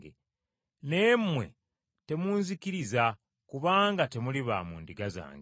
Naye mmwe temunzikiriza kubanga temuli ba mu ndiga zange.